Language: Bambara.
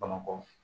Bamakɔ